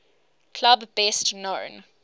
club best known